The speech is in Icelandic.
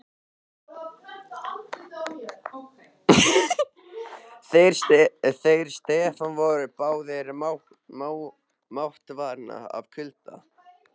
Þeir Stefán voru báðir máttvana af kulda.